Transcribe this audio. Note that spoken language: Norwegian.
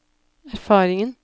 erfaringen